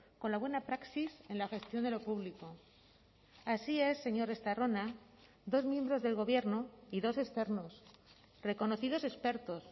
con la buena praxis en la gestión de lo público así es señor estarrona dos miembros del gobierno y dos externos reconocidos expertos